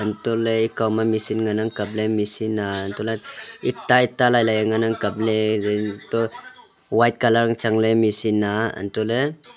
antoh le ekao ma machine ngan ang kap le machine a antoh le ita ita lailai ngan ang kap le toh white color ang chang le machine a antoh le--